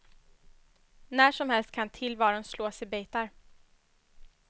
När som helst kan tillvaron slås i bitar.